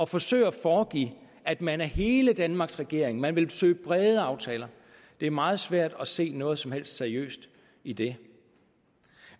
forsøge at foregive at man er hele danmarks regering man vil søge brede aftaler det er meget svært at se noget som helst seriøst i det